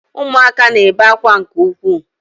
Ụmụaka na-ebe akwa nke ukwuu